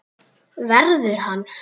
Verður hann.